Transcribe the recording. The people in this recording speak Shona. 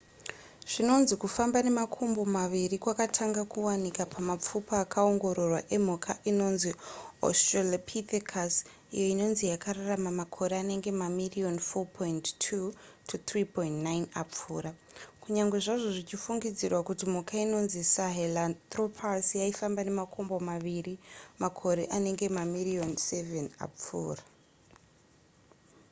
zvinonzi kufamba nemakumbo maviri kwakatanga kuwanika pamapfupa akaongororwa emhuka inonzi australopithecus iyo inonzi yakararama makore anenge mamiriyoni 4.2 -3.9 apfuura kunyange zvazvo zvichifungidzirwa kuti mhuka inonzi sahelanthropus yaifamba nemakumbo maviri makore anenge mamiriyoni 7 apfuura